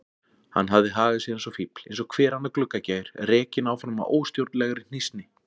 Hann hafði hagað sér eins og fífl, eins og hver annar gluggagægir, rekinn áfram af óstjórnlegri hnýsni.